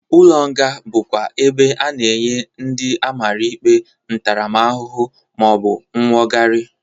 Ụlọ nga bụkwa ebe a na-enye ndị amara ikpe ntaramahụhụ, ma ọ bụ nwogari.